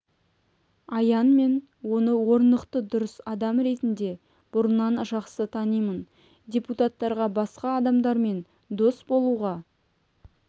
аян мен оны орнықты дұрыс адам ретінде бұрыннан жақсы танимын депутаттарға басқа адамдармен дос болуға